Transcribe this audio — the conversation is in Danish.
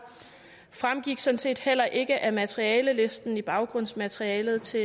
fremgik sådan set heller ikke af materialelisten i baggrundsmaterialet til